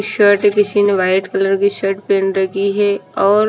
shirt है किसी ने वाइट कलर की शर्ट पहन रखी है और--